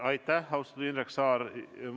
Aitäh, austatud Indrek Saar!